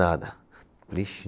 Nada. Falei ixe